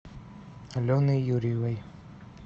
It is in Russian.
алены юрьевой